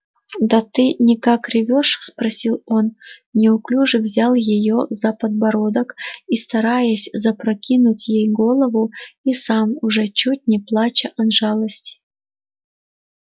да ты никак ревёшь спросил он неуклюже взяв её за подбородок и стараясь запрокинуть ей голову и сам уже чуть не плача от жалости